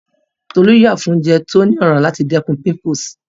Tolú yà fún oúnjẹ tó ní ọ̀rá láti dẹ́kun